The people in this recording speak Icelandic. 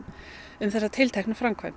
um þessa tilteknu framkvæmd